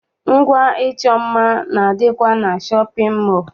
Ngwa ịchọ mma na- adịkwa na shọpịn mọọ.